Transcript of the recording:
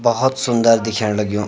भौत सुन्दर दिख्येण लग्यूं।